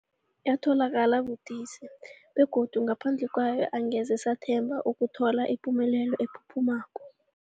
Yatholakala budisi, begodu ngaphandle kwayo angeze sathemba ukuthola ipumelelo ephuphumako.